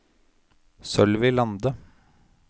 Sølvi Lande